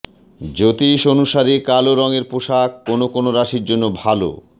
জ্যোতিষ অনুসারে কালো রঙের পোষাক কোন কোন রাশির জন্য ভাল